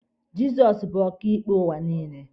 Jịzọs bụ ọkaịkpe ụwa niile.